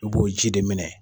I b'o ji de minɛ.